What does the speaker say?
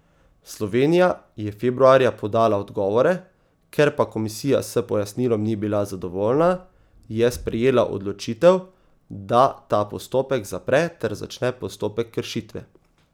Slovenija je februarja podala odgovore, ker pa komisija s pojasnilom ni bila zadovoljna, je sprejela odločitev, da ta postopek zapre ter začne postopek kršitve.